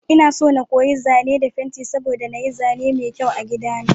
Inaso na koyi zane da fenti saboda na yi zane mai kyau a gida na.